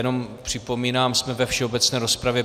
Jenom připomínám, jsme ve všeobecné rozpravě.